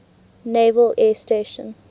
naval air station